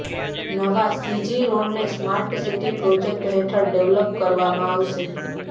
નવા સીજી રોડને smart city project હેઠળ ડેવલપ કરવામાં આવશે